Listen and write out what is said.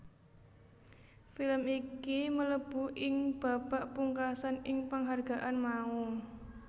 Film iki mlebu ing babak pungkasan ing penghargaan mau